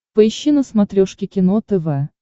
поищи на смотрешке кино тв